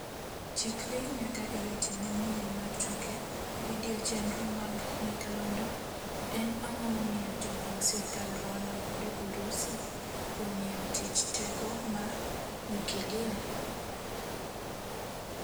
Chikri nyaka e weche manyien mar tuke video chenro mag nyakalondo En ang'o momiyo joping sirkal Rwanda kwedo Urusi kuom yao tich teko ma nyukilia?